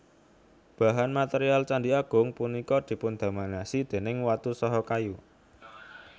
Bahan material Candhi Agung punika dipundominasi déning watu saha kayu